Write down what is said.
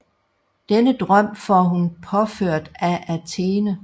Denne drøm får hun påført af Athene